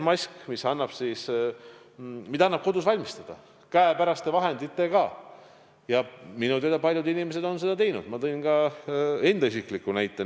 Maski saab ka ise kodus valmistada käepäraste vahenditega ja minu teada on paljud inimesed seda juba teinud – tõin ka enda näite.